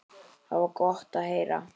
Það var gott að heyra.